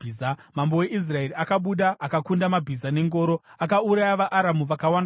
Mambo weIsraeri akabuda akakunda mabhiza nengoro, akauraya vaAramu vakawanda kwazvo.